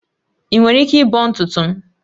Ị nwere ike ịbọ ntutu m?